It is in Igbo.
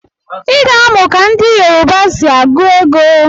Iga amụ ka ndi yoruba si agu ego!!